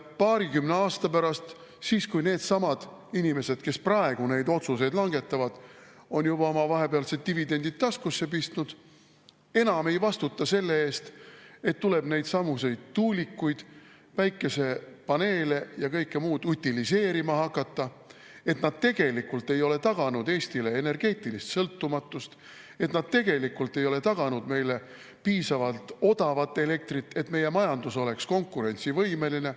Paarikümne aasta pärast needsamad inimesed, kes praegu neid otsuseid langetavad, on juba oma vahepealsed dividendid taskusse pistnud ja enam ei vastuta selle eest, et tuulikuid, päikesepaneele ja kõike muud tuleb utiliseerima hakata, need tegelikult ei ole taganud Eestile energeetilist sõltumatust ja need tegelikult ei ole taganud meile piisavalt odavat elektrit, et meie majandus oleks konkurentsivõimeline.